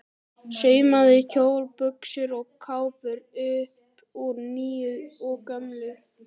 Saumaði kjóla, buxur og kápur upp úr nýju og gömlu.